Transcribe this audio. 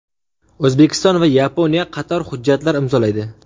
O‘zbekiston va Yaponiya qator hujjatlar imzolaydi.